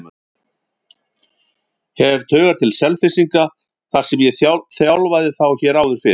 Hef taugar til Selfyssinga þar sem ég þjálfaði þá hér áður fyrr.